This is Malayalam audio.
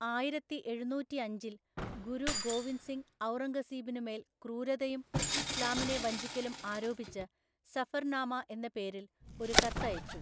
ആയിരത്തിഎഴുനൂറ്റിഅഞ്ചില്‍, ഗുരു ഗോവിന്ദ് സിംഗ് ഔറംഗസീബിനുമേല്‍ ക്രൂരതയും ഇസ്ലാമിനെ വഞ്ചിക്കലും ആരോപിച്ച് സഫർനാമ എന്ന പേരിൽ ഒരു കത്ത് അയച്ചു,